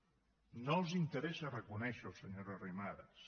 no els interessa reconèixerho senyora arrimadas